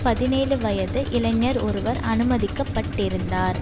பதினேழு வயது இளைஞர் ஒருவர் அனுமதிக்கப்பட்டிருந்தார்